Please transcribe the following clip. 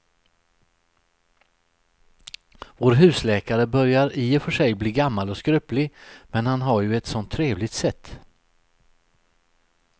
Vår husläkare börjar i och för sig bli gammal och skröplig, men han har ju ett sådant trevligt sätt!